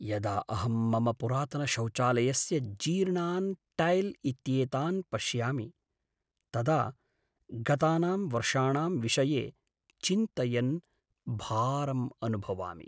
यदा अहं मम पुरातनशौचालयस्य जीर्णान् टैल् इत्येतान् पश्यामि, तदा गतानां वर्षाणां विषये चिन्तयन् भारं अनुभवामि।